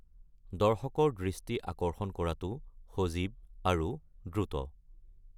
দৰ্শকৰ দৃষ্টি আকৰ্ষণ কৰাটো সজীৱ আৰু দ্ৰুত।